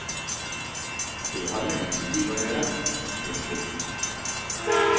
Det har med livsstil å gjøre. punktum